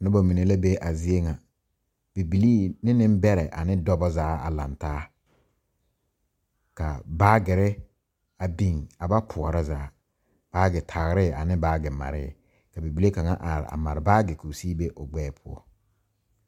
Noba mine la be a zie ŋa bibilii ne nembɛrɛ ane dɔba zaa la laŋ taa ka baagere a biŋ a ba poɔrɔ zaa baagetagree ane baagemaree ka bibile kaŋ a are a mare baage k,o sigi be o gbɛɛ poɔ.